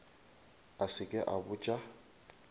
a se ke a botša